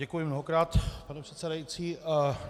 Děkuji mnohokrát, pane předsedající.